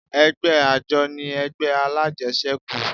Ẹgbẹ́ àjọ ni ẹgbẹ́ alájẹsẹ́kù